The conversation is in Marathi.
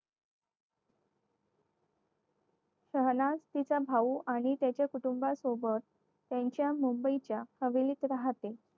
शौनाज तिचा भाऊ आणि कुटुंबासोबत त्यांच्या मुंबईच्या हवेलीत राहतो.